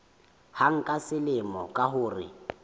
hang ka selemo ka mora